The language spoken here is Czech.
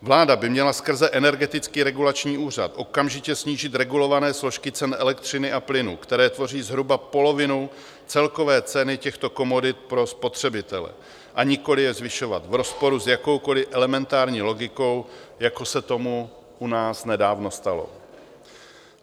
Vláda by měla skrze Energetický regulační úřad okamžitě snížit regulované složky cen elektřiny a plynu, které tvoří zhruba polovinu celkové ceny těchto komodit pro spotřebitele, a nikoliv je zvyšovat v rozporu s jakoukoliv elementární logikou, jako se tomu u nás nedávno stalo.